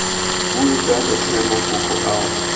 bue jalo tlhe mafoko ao